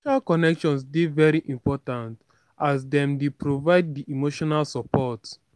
social connections dey very important as dem dey provide di emotional support.